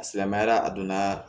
A silamɛyara a donna